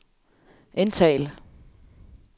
indtal